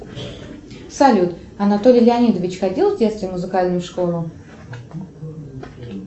салют анатолий леонидович ходил в детстве в музыкальную школу